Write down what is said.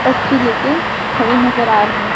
पर्ची ले के खड़े नजर आ रहे हैं।